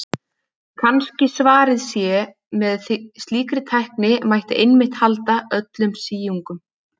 Kannski svarið sé að með slíkri tækni mætti einmitt halda öllum síungum.